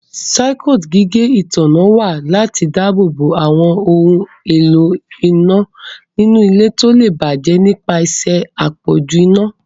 Circuit gígé ìtanná wa lati dáàbòbo awon òun ìlò iná nínú ilé tíó le bàjé nipasẹ apọju iná.